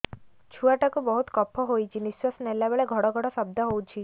ଛୁଆ ଟା କୁ ବହୁତ କଫ ହୋଇଛି ନିଶ୍ୱାସ ନେଲା ବେଳେ ଘଡ ଘଡ ଶବ୍ଦ ହଉଛି